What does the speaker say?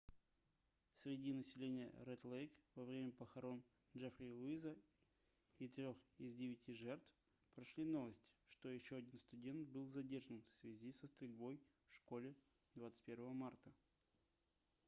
среди населения ред-лейк во время похорон джеффри уиза и трёх из девяти жертв прошли новости что еще один студент был задержан в связи со стрельбой в школе 21 марта